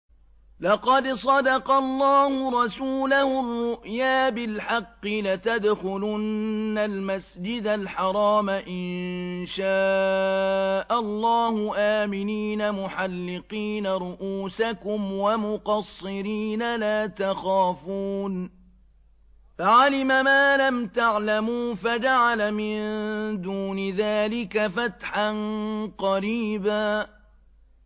لَّقَدْ صَدَقَ اللَّهُ رَسُولَهُ الرُّؤْيَا بِالْحَقِّ ۖ لَتَدْخُلُنَّ الْمَسْجِدَ الْحَرَامَ إِن شَاءَ اللَّهُ آمِنِينَ مُحَلِّقِينَ رُءُوسَكُمْ وَمُقَصِّرِينَ لَا تَخَافُونَ ۖ فَعَلِمَ مَا لَمْ تَعْلَمُوا فَجَعَلَ مِن دُونِ ذَٰلِكَ فَتْحًا قَرِيبًا